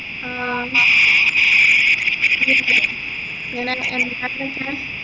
ആ ഇങ്ങനെ